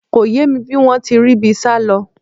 Kò yé mi bí wọ́n ti ríbi sálọ